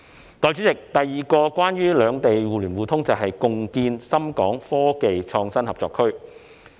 代理主席，第二個關於兩地互聯互通的重要舉措，是共建深港科技創新合作區。